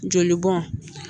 Joli bɔn